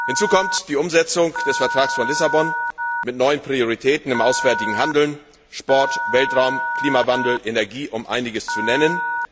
Hinzu kommt die Umsetzung des Vertrags von Lissabon mit neuen Prioritäten im auswärtigen Handeln, Sport, Weltraum, Klimawandel, Energie, um einiges zu nennen.